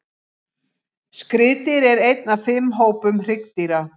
Skriðdýr er einn af fimm hópum hryggdýra.